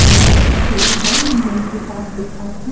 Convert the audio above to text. बड़का पेड़ ह जउन की साफ दिखात ह।